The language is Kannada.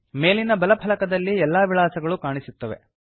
ಮೇಲಿನ ಬಲ ಫಲಕದಲ್ಲಿ ಎಲ್ಲಾ ವಿಳಾಸಗಳು ಕಾಣಿಸುತ್ತವೆ